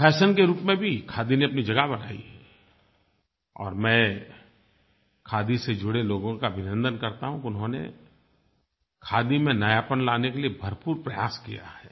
fashion के रूप में भी खादी ने अपनी जगह बनाई है और मैं खादी से जुड़े लोगों का अभिनन्दन करता हूँ कि उन्होंने खादी में नयापन लाने के लिए भरपूर प्रयास किया है